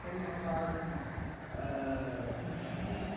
Foi uma fase ãh ãh ãh muito difícil?